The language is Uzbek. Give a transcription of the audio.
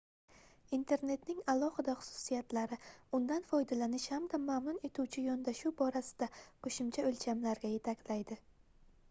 internetning alohida xususiyatlari undan foydalanish hamda mamnun etuvchi yondashuv borasida qoʻshimcha oʻlchamlarga yetaklaydi